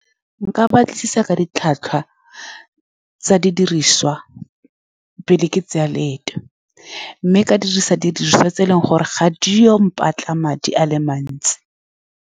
Nka batlisisa ka ditlhwatlhwa tsa didiriswa pele ke tsaya leeto, mme ka dirisa didiriswa tse e leng gore ga di ye go mpatla madi a le mantsi.